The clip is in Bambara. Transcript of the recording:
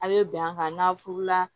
A' bɛ bɛn a kan n'a fugula